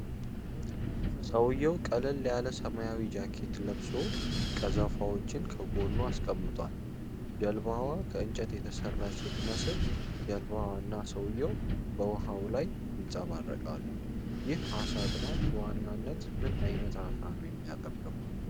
ሰውየው ቀለል ያለ ሰማያዊ ጃኬት ለብሶ፣ ቀዘፋዎችን ከጎኑ አስቀምጧል። ጀልባዋ ከእንጨት የተሠራች ስትመስል፣ ጀልባዋ እና ሰውየው በውኃው ላይ ይንፀባረቃሉ። ይህ ዓሣ አጥማጅ በዋናነት ምን ዓይነት ዓሣ ነው የሚያጠምደው?